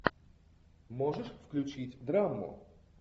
можешь включить драму